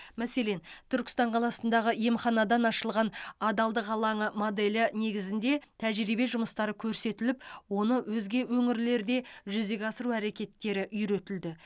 мәселен түркістан қаласындағы емханадан ашылған адалдық алаңы моделі негізінде тәжірибе жұмыстары көрсетіліп оны өзге өңірлерде жүзеге асыру әрекеттері үйретілді